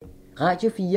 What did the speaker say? Radio 4